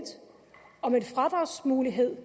og en fradragsmulighed